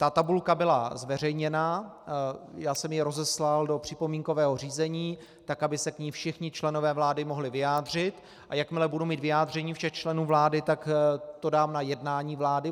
Ta tabulka byla zveřejněna, já jsem ji rozeslal do připomínkového řízení, tak aby se k ní všichni členové vlády mohli vyjádřit, a jakmile budu mít vyjádření všech členů vlády, tak to dám na jednání vlády.